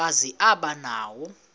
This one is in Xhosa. kazi aba nawo